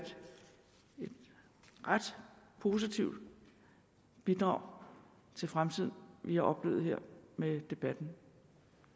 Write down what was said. ret positivt bidrag til fremtiden vi har oplevet her med debatten